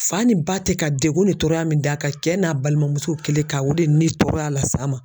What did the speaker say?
Fa ni ba tɛ ka degun ni tɔɔrɔya min d'a kan, kɛ n'a balimamuso kelen ka o de ni tɔɔrɔya la sa ma.